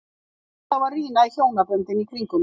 Ég var alltaf að rýna í hjónaböndin í kring um mig.